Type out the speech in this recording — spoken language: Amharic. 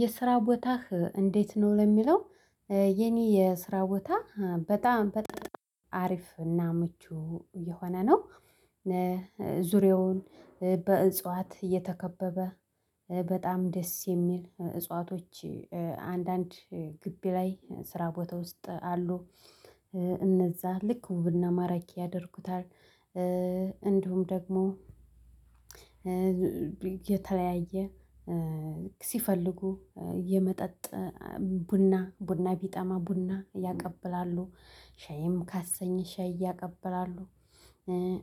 የስራ ቦታህ እንዴት ነው ለሚለው? የኔ የስራ ቦታ በጣም በጣም አሪፍ እና ምቹ እየሆነ ነው። ዙሪያውን በእጽዋት እየተከበበ በጣም ደስ የሚል እጽዋቶች አንዳንድ ግቢ ላይ ስራ ቦታ ውስጥ አሉ። እነዛ ልክ ውብና ማራጌ ያደርጉታል። እንዲሁም ደግሞ የተለያየ ሲፈልጉ የመጠጥ ቡና ቡና ቢጠማ ቡና ያቀብላሉ ሻይም ካሰኘሽ ሻይ ያቀብላሉ።